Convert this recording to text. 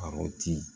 A o ti